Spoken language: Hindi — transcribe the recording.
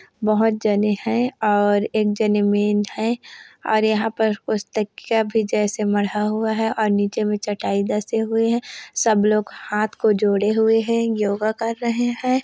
बहुत जने है और एक जने मैन है और यहाँ पर पुस्तकया भी जैसे मढ़ा हुआ है और नीचे में चटाई जैसे हुए है सब लोग हाथ को जोड़े हुए है योगा कर रहे हैं।